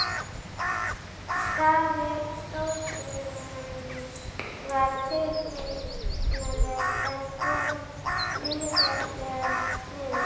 Skaði stórbrunans var tilfinnanlegur, en kom misjafnlega niður.